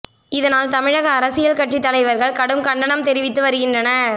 இதனால் தமிழக அரசியல் கட்சி தலைவர்கள் கடும் கண்டனம் தெரிவித்து வருகின்றனர்